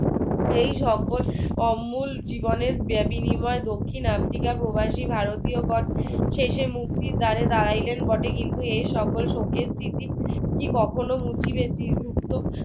এই সকল অমূল জীবনের দক্ষিণ আফ্রিকার প্রবাসী ভারতীয়গন শেষে মুক্তির দ্বারে দাঁড়াইলেন বটে কিন্তু এক সকল শোকের স্মৃতি কি কখনো মুছিবে?